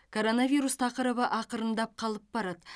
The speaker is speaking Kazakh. коронавирус тақырыбы ақырындап қалып барады